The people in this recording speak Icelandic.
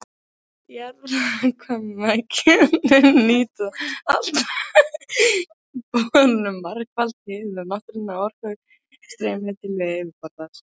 Jarðvarmavirkjanir nýta alltaf með borunum margfalt hið náttúrlega orkustreymi til yfirborðs.